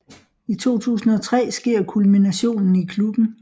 I 2003 sker kulminationen i klubben